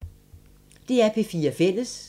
DR P4 Fælles